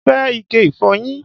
Mo fẹ́ ike ìfọyín